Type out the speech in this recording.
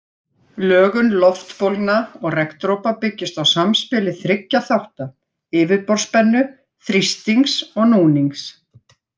Lögun loftbólna og regndropa byggist á samspili þriggja þátta, yfirborðsspennu, þrýstings og núnings.